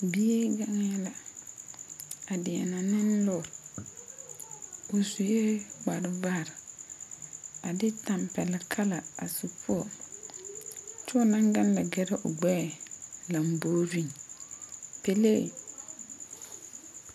Bie gaŋɛ la a dienɛ ne lɔr. O suɛ kpar bar a de tampɛluŋ kala a su poɔ. Kyɛ o na gaŋ la gire o gbɛɛ lambooreŋ. Pɛlee